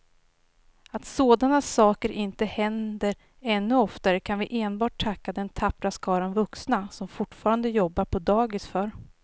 Att sådana saker inte händer ännu oftare kan vi enbart tacka den tappra skara vuxna som fortfarande jobbar på dagis för.